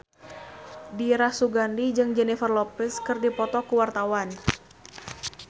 Dira Sugandi jeung Jennifer Lopez keur dipoto ku wartawan